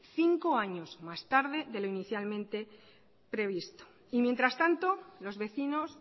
cinco años más tarde de lo inicialmente previsto y mientras tanto los vecinos